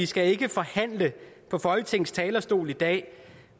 skal forhandle på folketingets talerstol i dag